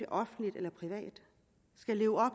offentligt eller privat skal leve op